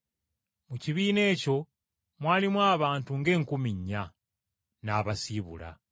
Mu kibiina ekyo mwalimu abantu ng’enkumi nnya. N’abasiibula.